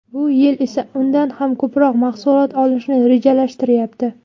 Bu yil esa undan ham ko‘proq mahsulot olishni rejalashtiryapti.